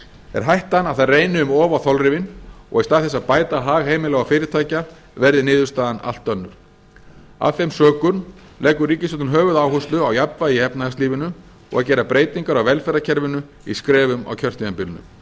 er hættan að það reyni um of á þolrifin og í stað þess að bæta hag heimila og fyrirtækja verði niðurstaðan allt önnur af þeim sökum leggur ríkisstjórnin höfuðáherslu á jafnvægi í efnahagslífinu og að gera breytingar á velferðarkerfinu í skrefum á kjörtímabilinu það